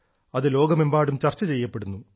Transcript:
അത് ലോകമെമ്പാടും ചർച്ച ചെയ്യപ്പെടുന്നു